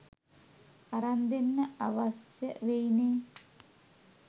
අරං දෙන්න අවස්ය වෙයිනේ